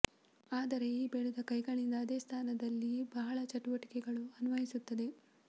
ಆದರೆ ಈ ಬೆಳೆದ ಕೈಗಳಿಂದ ಅದೇ ಸ್ಥಾನದಲ್ಲಿ ಬಹಳ ಚಟುವಟಿಕೆಗಳು ಅನ್ವಯಿಸುತ್ತದೆ